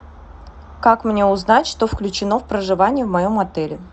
как мне узнать что включено в проживание в моем отеле